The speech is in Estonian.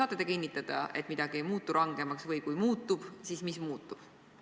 Saate te kinnitada, et midagi ei muutu rangemaks, või kui muutub, siis mis muutub?